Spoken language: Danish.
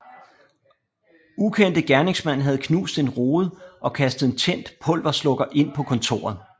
Ukendte gerningsmænd havde knust en rude og kastet en tændt pulverslukker ind på kontoret